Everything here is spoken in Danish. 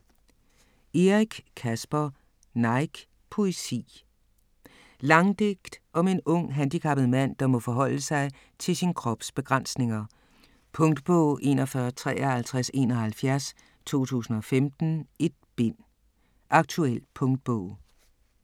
Eric, Caspar: Nike: poesi Langdigt om en ung, handicappet mand, der må forholde sig til sin krops begrænsninger. Punktbog 415371 2015. 1 bind. Aktuel punktbog